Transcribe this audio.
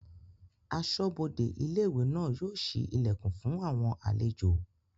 Asọ́bodè ilé-ìwé náà yóò ṣí ilẹ̀kùn náà fún àwọn àlejò